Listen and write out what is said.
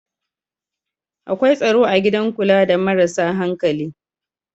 Akwai tsaro a gidan kula da marasa hankali